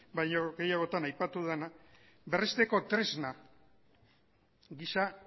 baino gehiagotan aipatu dena berresteko tresna gisa